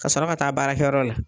Ka sɔrɔ ka taa baarakɛ yɔrɔ la.